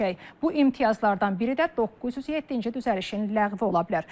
Bu imtiyazlardan biri də 907-ci düzəlişin ləğvi ola bilər.